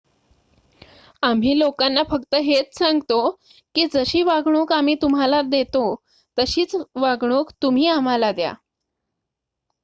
आम्ही लोकांना फक्त हेच सांगतो की जशी वागणूक आम्ही तुम्हाला देतो तशीच वागणूक तुम्ही आम्हाला द्या